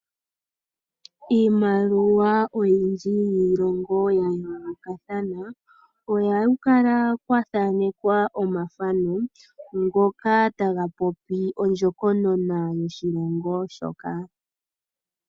Iimaliwa oyindji yiilongo ya yoolokathana, ohaku kala kwa thaanekwa omathano ngoka taga popi ondjokonona yoshilongo shoka.